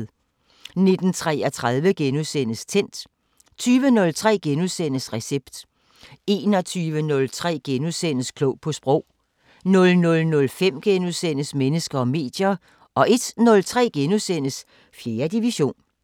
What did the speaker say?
19:33: Tændt * 20:03: Recept * 21:03: Klog på Sprog * 00:05: Mennesker og medier * 01:03: 4. division *